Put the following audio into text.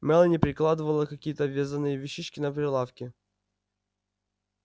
мелани перекладывала какие-то вязаные вещички на прилавке